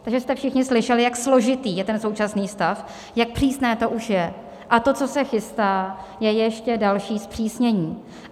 Takže jste všichni slyšeli, jak složitý je ten současný stav, jak přísné to už je, a to, co se chystá, je ještě další zpřísnění.